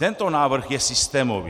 Tento návrh je systémový.